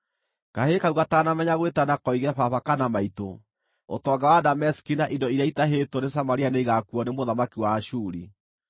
Kahĩĩ kau gataanamenya gwĩtana koige ‘Baba’ kana ‘Maitũ’, ũtonga wa Dameski na indo iria itahĩtwo nĩ Samaria nĩigakuuo nĩ mũthamaki wa Ashuri.”